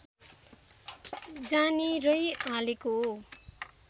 जानेरै हालेको हो